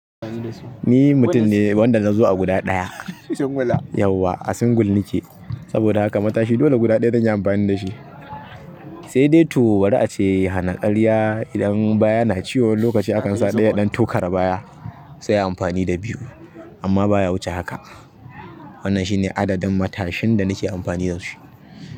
Ni mutum ne wanda nazo a guda ɗaya. Yauwa a single nike saboda haka matashi dole guda ɗaya zan yi amfani da shi. Sai dai to bari ace hana karya idan baya na ciwo wani lokaci akan sa ɗaya ya ɗan tokare baya sai ai anfani da biyu. Amma baya wuce haka. Wannan shine adadin matashin da nake amfani da shi.